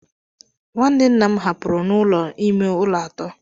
Nwanne nna m hapụrụ n'ụlọ ime ụlọ atọ.